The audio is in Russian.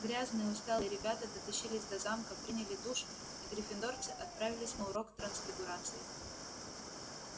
грязные усталые ребята дотащились до замка приняли душ и гриффиндорцы отправились на урок трансфигурации